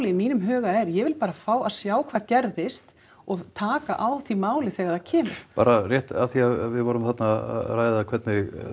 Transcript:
í mínum huga er ég vil bara fá að sjá hvað gerðist og taka á því máli þegar það kemur bara rétt af því að við vorum þarna að ræða hvernig